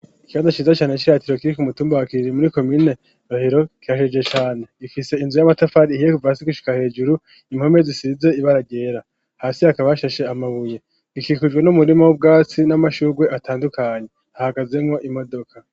Ikibanza ciza cane ciratiro kiri k'umutumba wa kirire muri komine rohero kirashajije cane gifise inzu y'amatafari ihiye kuva hasi gishuka hejuru impome zisize ibara ryera hasi hakaba hashashe amabuye ikikujwe n'umurima w'ubwatsi n'amashugwe atandukanye ahagazemwo imodoka.